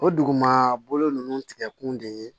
O duguma ninnu tigɛkun de ye